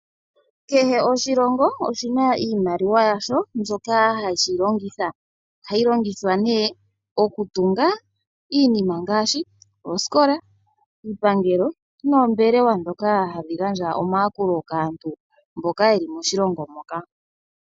Kehe oshilongo oshina iimaliwa yasho mbyoka ha shi yi longitha. Ohayi longithwa nee ,oku tunga iinima ngaashi; oosikola, iipangelo noombelewa dhoka hadhi gandja omayakulo kaantu mboka yeli moshilongo mpoka .